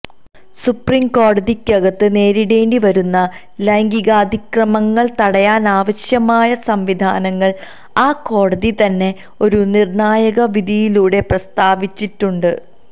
supreme കോടതിക്കകത്ത് നേരിടേണ്ടി വരുന്ന ലൈംഗികാതിക്രമണങ്ങള് തടയാനാവശ്യമായ സംവിധാനങ്ങള് ആ കോടതി തന്നെ ഒരു നിര്ണായക വിധിയിലൂടെ പ്രസ്താവിച്ചിട്ടുണ്ട്